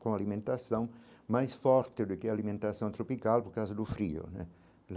com a alimentação mais forte do que a alimentação tropical, por causa do frio né.